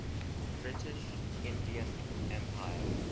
british indian empire